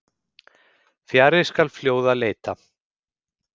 Fjarri skal fljóða leita.